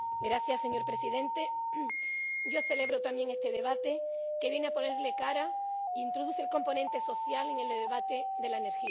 Señor Presidente, yo celebro también este debate, que viene a ponerle cara e introduce el componente social en el debate de la energía.